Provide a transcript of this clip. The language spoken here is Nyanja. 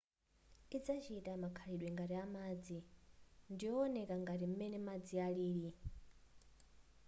idzachita makhalidwe ngati amadzi ndiyowoneka ngati m'mene madzi alili